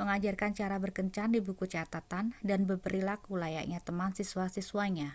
mengajarkan cara berkencan di buku catatan dan berperilaku layaknya teman siswa-siswanya.'